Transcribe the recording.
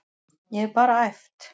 Ég hef bara æft.